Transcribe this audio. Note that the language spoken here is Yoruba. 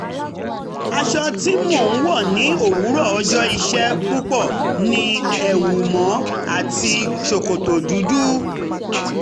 aṣọ tí mo ń wọ̀ ní um òwúrọ̀ ọjọ́ iṣẹ́ púpọ̀ ni ẹ̀wù mọ́ àti um ṣòkòtò dúdú